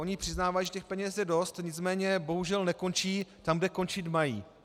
Oni přiznávají, že těch peněz je dost, nicméně bohužel nekončí tam, kde končit mají.